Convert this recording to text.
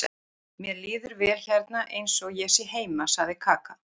Mér líður vel hérna eins og ég sé heima, sagði Kaka.